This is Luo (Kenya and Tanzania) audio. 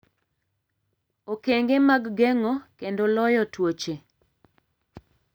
Okenge mag Geng'o Kendo Loyo Tuoche: